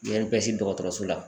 INPS dɔgɔtɔrɔso la